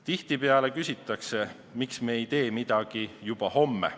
Tihtipeale küsitakse, miks me ei tee midagi juba homme.